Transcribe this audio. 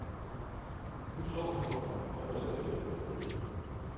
Nu så hun på ham og rystede lidt på hovedet.